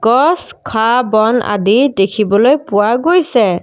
গছ ঘাঁহ বন আদি দেখিবলৈ পোৱা গৈছে।